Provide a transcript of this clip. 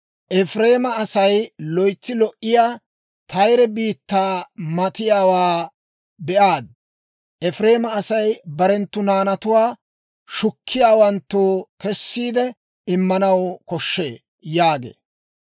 Efireema Asay loytsi lo"iyaa Tayere biittaa matiyaawaa be'aad; Efireema Asay barenttu naanatuwaa shukkiyaawanttoo kessiide immanaw koshshee» yaagee.